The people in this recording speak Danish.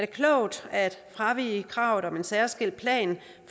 det klogt at fravige kravet om en særskilt plan